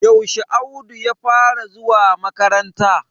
Yaushe Audu ya fara zuwa makaranta?